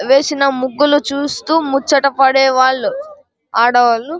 వేసిన ముగ్గులు చూస్తూ ముచ్చడ పడేవాళ్లు ఆడవాళ్లు.